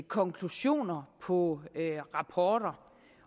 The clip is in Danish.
konklusioner på rapporter